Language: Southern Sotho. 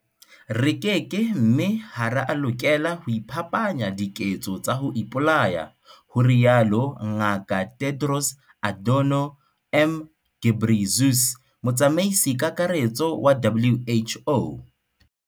"Re keke mme ha re a lokela ho iphapanya diketso tsa ho ipolaya," ho rialo Ngaka Tedros Adhano m Ghebreyesus, Motsamaisi-Kakaretso wa WHO.